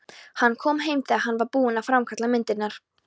Hann kom heim þegar hann var búinn að framkalla myndirnar.